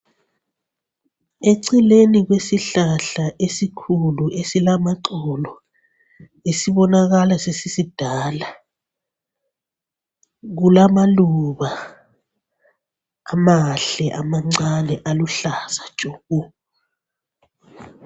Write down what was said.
Eceleni kwesihlahla esikhulu esilamaxolo esibonakala sesisidala kulamaluba amahle amancane aluhlaza tshoko.